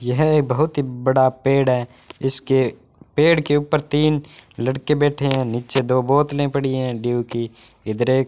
यह बहुत ही बड़ा पेड़ है इसके पेड़ के ऊपर तीन लड़के बैठे हैं नीचे दो बोतलें पड़ी हैं ड्यू की इधर एक --